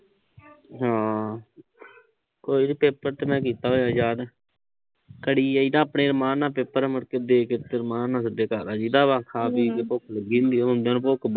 ਹਮ ਹੋਰ ਪੇਪਰ ਤਾਂ ਮੈਂ ਕੀਤਾ ਹੋਇਆ ਯਾਦ। ਆਪਣੇ ਅਰਮਾਨ ਨਾਲ ਪੇਪਰ ਆ। ਮੁੜਕੇ ਦੇ ਕੇ ਉਥੇ ਅਰਮਾਨ ਨਾਲ ਖਾ ਪੀ ਕੇ ਭੁੱਖ ਲੱਗੀ ਹੁੰਦੀ ਆ। ਆਉਂਦਿਆਂ ਨੂੰ ਭੁੱਖ